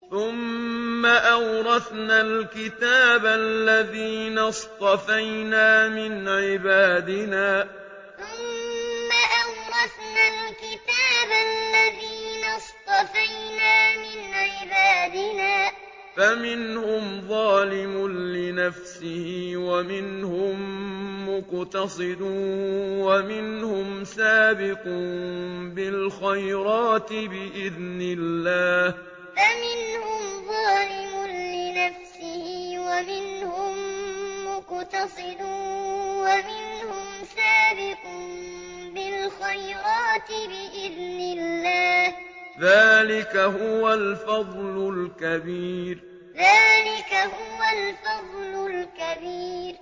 ثُمَّ أَوْرَثْنَا الْكِتَابَ الَّذِينَ اصْطَفَيْنَا مِنْ عِبَادِنَا ۖ فَمِنْهُمْ ظَالِمٌ لِّنَفْسِهِ وَمِنْهُم مُّقْتَصِدٌ وَمِنْهُمْ سَابِقٌ بِالْخَيْرَاتِ بِإِذْنِ اللَّهِ ۚ ذَٰلِكَ هُوَ الْفَضْلُ الْكَبِيرُ ثُمَّ أَوْرَثْنَا الْكِتَابَ الَّذِينَ اصْطَفَيْنَا مِنْ عِبَادِنَا ۖ فَمِنْهُمْ ظَالِمٌ لِّنَفْسِهِ وَمِنْهُم مُّقْتَصِدٌ وَمِنْهُمْ سَابِقٌ بِالْخَيْرَاتِ بِإِذْنِ اللَّهِ ۚ ذَٰلِكَ هُوَ الْفَضْلُ الْكَبِيرُ